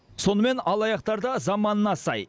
сонымен алаяқтар да заманына сай